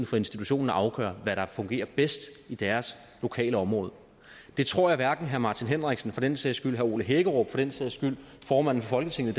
for institutionen at afgøre hvad der fungerer bedst i deres lokalområde det tror jeg hverken herre martin henriksen eller for den sags skyld herre ole hækkerup eller for den sags skyld formanden for folketinget